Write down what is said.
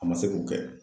A ma se k'o kɛ